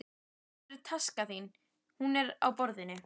Hvar er taskan þín? Hún er á borðinu.